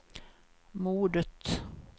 mordet